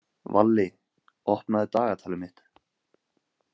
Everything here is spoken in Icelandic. Valli, opnaðu dagatalið mitt.